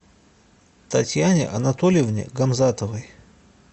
татьяне анатольевне гамзатовой